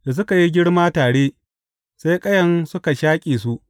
Da suka yi girma tare, sai ƙayan suka shaƙe su.